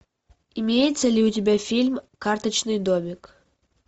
имеется ли у тебя фильм карточный домик